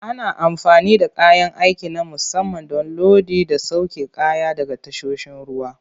Ana amfani da kayan aiki na musamman don lodi da sauke kaya daga tasoshin ruwa.